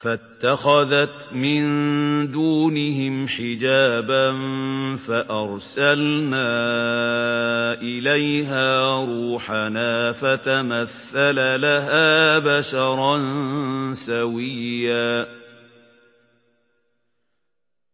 فَاتَّخَذَتْ مِن دُونِهِمْ حِجَابًا فَأَرْسَلْنَا إِلَيْهَا رُوحَنَا فَتَمَثَّلَ لَهَا بَشَرًا سَوِيًّا